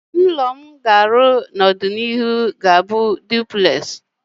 Ụlọ m n'ọdịnihu ga-abụ Dụplesị